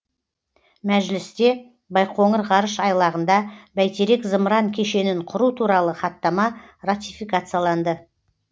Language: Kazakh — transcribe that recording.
мәжілісте байқоңыр ғарыш айлағында бәйтерек зымыран кешенін құру туралы хаттама ратификацияланды